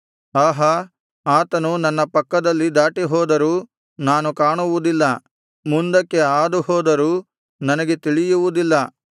ಆಹಾ ಆತನು ನನ್ನ ಪಕ್ಕದಲ್ಲಿ ದಾಟಿಹೋದರೂ ನಾನು ಕಾಣುವುದಿಲ್ಲ ಮುಂದಕ್ಕೆ ಹಾದುಹೋದರೂ ನನಗೆ ತಿಳಿಯುವುದಿಲ್ಲ